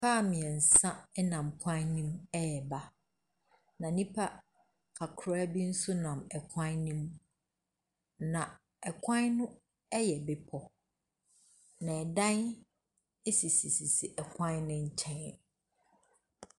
Car mmiɛnsa nam kwan no mu reba. Na nnipa kakraa bi nso nam kwan no mu. Na ɛkwan no yɛ bepɔ. Na dan esisisisi ɛkwan no nkyɛn.